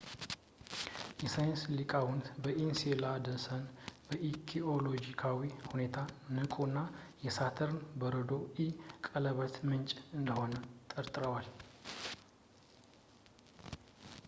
የሳይንስ ሊቃውንት ኢንሴላደስን በጂኦሎጂካዊ ሁኔታ ንቁ እና የሳተርን የበረዶ ኢ ቀለበት ምንጭ እንደሆነ ጠርጥረዋል